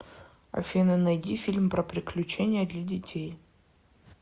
афина найди фильм про приключения для детей